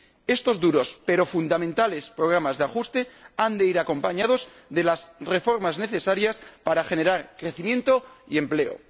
Estos duros pero fundamentales programas de ajuste han de ir acompañados de las reformas necesarias para generar crecimiento y empleo.